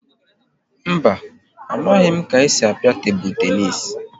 Mba, amaghị m ka esi a pịa tebụl tenis